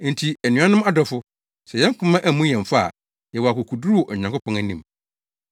Enti anuanom adɔfo, sɛ yɛn koma ammu yɛn fɔ a, yɛwɔ akokoduru wɔ Onyankopɔn anim.